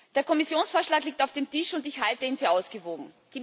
Der Kommissionsvorschlag liegt auf dem Tisch, und ich halte ihn für ausgewogen.